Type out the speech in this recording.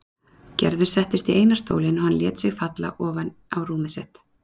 Gerður settist í eina stólinn og hann lét sig falla ofan á rúmið sitt.